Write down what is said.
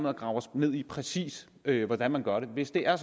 at grave os ned i præcis hvordan man gør det hvis det er